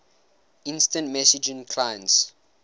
instant messaging clients